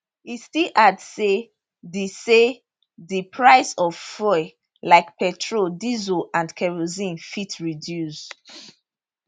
e still add say di say di price of fuel like petrol diesel and kerosene fit reduce